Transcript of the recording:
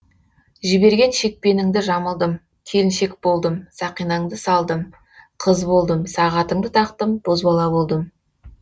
жіберген шекпеніңді жамылдым келіншек болдым сақинаңды салдым қыз болдым сағатыңды тақтым бозбала болдым